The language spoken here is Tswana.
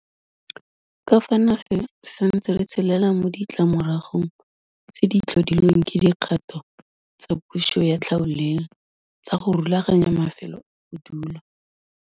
Ka fa nageng re santse re tshelela mo ditlamoragong tse di tlhodilweng ke dikgato tsa puso ya tlhaolele tsa go rulaganya mafelo a bodulo.